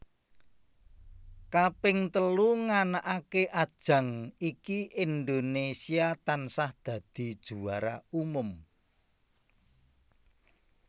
Kaping telu nganakake ajang iki Indonésia tansah dadi juara umum